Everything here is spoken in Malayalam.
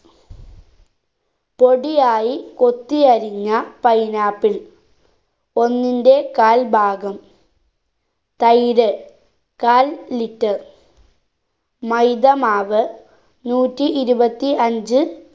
പൊടിയായി കൊത്തി അരിഞ്ഞ pineapple ഒന്നിന്റെ കാൽ ഭാഗം തൈര് കാൽ litre മൈദ മാവ് നൂറ്റി ഇരുപത്തി അഞ്ച്‌